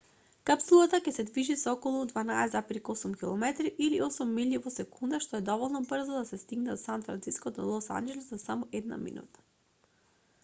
капсулата ќе се движи со околу 12,8 km или 8 милји во секунда што е доволно брзо за да се стигне од сан франциско до лос анџелес за само една минута